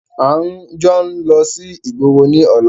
A jọ ń lọ sí ìgboro ní ọ̀la!